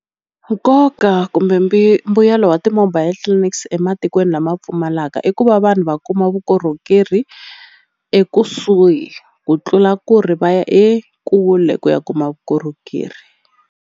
Nkoka kumbe mimbuyelo wa ti-mobile clinics ematikweni lama pfumalaka i ku va vanhu va kuma vukorhokeri ekusuhi ku tlula ku ri va ya ekule ku ya kuma vukorhokeri.